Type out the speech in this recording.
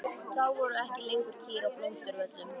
Þá voru ekki lengur kýr á Blómsturvöllum.